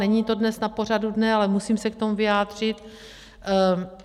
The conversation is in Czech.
Není to dnes na pořadu dne, ale musím se k tomu vyjádřit.